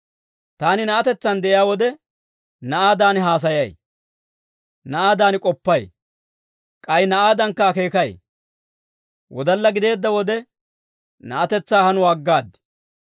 Taani na'atetsaan de'iyaa wode, na'aadan haasayay. Na'aadan k'oppay. K'ay na'aadankka akeekay. Wodalla gideedda wode, na'atetsaa hanuwaa aggaad.